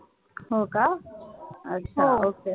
हो का अच्छा OK